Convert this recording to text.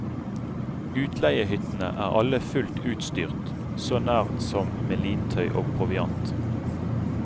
Utleiehyttene er alle fullt utstyrt, så nær som med lintøy og proviant.